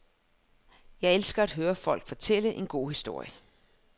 Jeg elsker at høre folk fortælle en god historie.